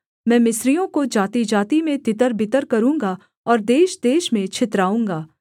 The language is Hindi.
मैं मिस्रियों को जातिजाति में तितरबितर करूँगा और देशदेश में छितराऊँगा